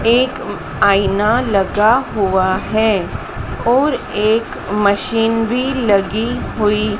एक आईना लगा हुआ है और एक मशीन भी लगी हुई--